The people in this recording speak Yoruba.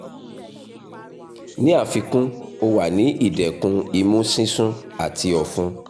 ni afikun o wa ni idẹkun imu sisun ati ọfun